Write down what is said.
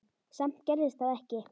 Samt gerðist það ekki.